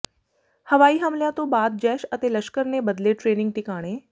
ਹਵਾਈ ਹਮਲਿਆਂ ਤੋਂ ਬਾਅਦ ਜੈਸ਼ ਅਤੇ ਲਸ਼ਕਰ ਨੇ ਬਦਲੇ ਟ੍ਰੇਨਿੰਗ ਟਿਕਾਣੇ